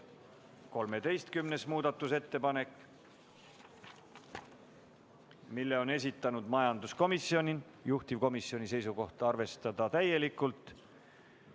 Ka 13. muudatusettepaneku on esitanud majanduskomisjon, juhtivkomisjoni seisukoht on arvestada seda täielikult.